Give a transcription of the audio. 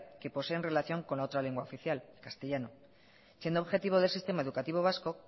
que posee en relación con la otra lengua oficial castellano siendo objetivo del sistema educativo vasco